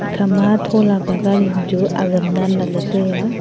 ekha ma thola pe gari chu azam dan lah ley tai a.